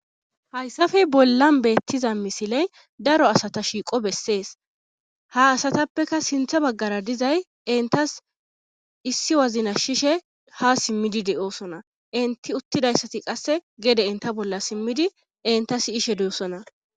hayssafe bollan beettiza misiley daro asata shiiqo bessees ha asatappeka sintha baggara dizay intas issi wazna shishe ha simmidi de7oosona inti uttidayssati qasse gede inta bolla simmidi inta siyishe duussona